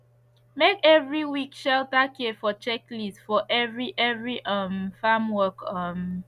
make every week shelter care for checklist for every every um farmwork um